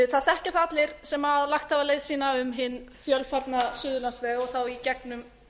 það þekkja það allir sem hafa lagt leið sína um hinn fjölfarna suðurlandsveg og þá í gegnum